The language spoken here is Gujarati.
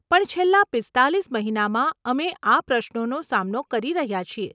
પણ છેલ્લા પીસ્તાલીસ મહિનામાં અમે આ પ્રશ્નનો સામનો કરી રહ્યાં છીએ.